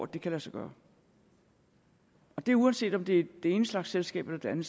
det kan lade sig gøre og det er uanset om det er den ene slags selskab eller det er den